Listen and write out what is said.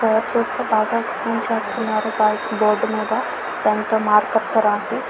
ఇక్కడ చుస్తే బాగా ఎక్సప్లేన్ చేస్తున్నారు బోర్డు మీద దాంతో మార్కర్ తో రాస్తూ.